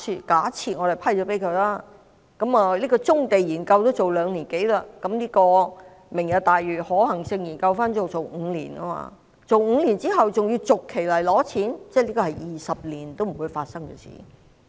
假設我們批准撥款，棕地研究也要做兩年多，"明日大嶼"的可行性研究便可能要做5年，而5年後還要每一期來申請撥款，這是20年都不會發生的事。